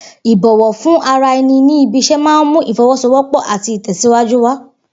Ìbò̩wò̩ fún ara e̩ni ní ibi is̩é̩ máa ń mú ìfo̩wó̩sowó̩pò̩ àti ìtè̩síwájú wà